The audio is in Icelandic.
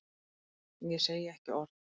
Ég segi ekki orð.